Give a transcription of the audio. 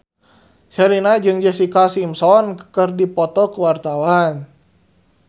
Sherina jeung Jessica Simpson keur dipoto ku wartawan